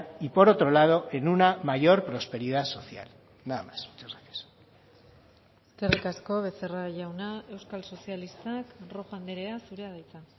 y por otro lado en una mayor prosperidad social nada más muchas gracias eskerrik asko becerra jauna euskal sozialistak rojo andrea zurea da hitza